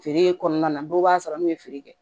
Feere kɔnɔna na dɔw b'a sɔrɔ n'u ye feere kɛ